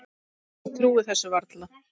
Ég trúi þessu varla